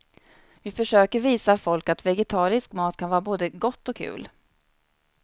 Vi fösöker visa folk att vegetarisk mat kan vara både gott och kul.